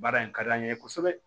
Baara in ka di an ye kosɛbɛ